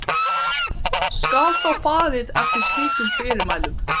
Það slitnar sífellt við núning en endurnýjast jafnóðum frá slímlaginu.